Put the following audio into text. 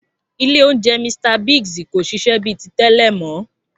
Ilé oúnjẹ Mr Biggs kò ṣiṣẹ́ bíi ti tẹ́lẹ̀ mọ́